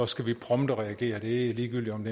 skal reagere det er ligegyldigt om